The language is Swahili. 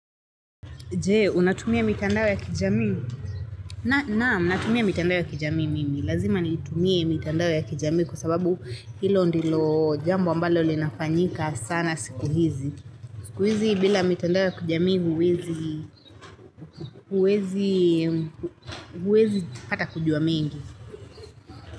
Je, unatumia mitandaonya kijamii? Na, naam, natumia mitandao ya kijamii mimi. Lazima niitumia mitandao ya kijamii kwa sababu hilo ndilo jambo ambalo linafanyika sana siku hizi. Siku hizi bila mitandao ya kijamii huwezi, huwezi, huwezi pata kujua mengi.